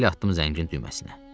Əl atdım zəngin düyməsinə.